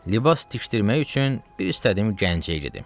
Libas tikdirmək üçün bir istədiyim Gəncəyədir.